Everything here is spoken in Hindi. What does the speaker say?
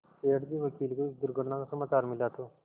सेठ जी वकील को इस दुर्घटना का समाचार मिला तो